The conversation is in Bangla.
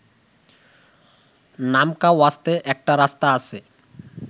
নামকাওয়াস্তে একটা রাস্তা আছে